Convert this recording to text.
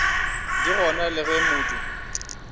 di gona le ge modu